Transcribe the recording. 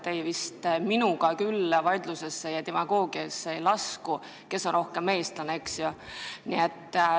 Mul vedas, minuga te vist küll vaidlusesse ja demagoogiasse ei lasku, et kes on rohkem eestlane.